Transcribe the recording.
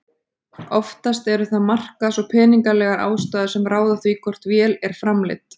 Oftast eru það markaðs- og peningalegar ástæður sem ráða því hvort vél er framleidd.